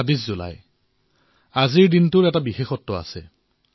আজি ২৬ জুলাই আৰু আজিৰ দিনটো অতিশয় উল্লেখযোগ্য